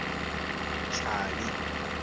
chali